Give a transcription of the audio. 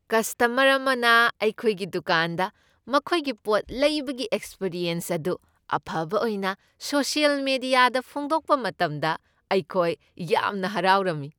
Customer ꯑꯃꯅ ꯑꯩꯈꯣꯏꯒꯤ ꯗꯨꯀꯥꯟꯗ ꯃꯈꯣꯏꯒꯤ ꯄꯣꯠ ꯂꯩꯕꯒꯤ ꯑꯦꯛꯁꯄ꯭ꯔꯤꯌꯦꯟꯁ ꯑꯗꯨ ꯑꯐꯕ ꯑꯣꯏꯅ ꯁꯣꯁꯤꯌꯦꯜ ꯃꯤꯗꯤꯌꯥꯗ ꯐꯣꯡꯗꯣꯛꯄ ꯃꯇꯝꯗ ꯑꯩꯈꯣꯏ ꯌꯥꯝꯅ ꯍꯔꯥꯎꯔꯝꯃꯤ꯫